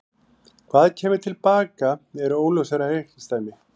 Hvað kæmi til baka er óljósara reikningsdæmi.